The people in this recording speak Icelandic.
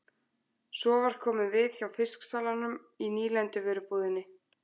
Svo var komið við hjá fisksalanum og í nýlenduvörubúðinni.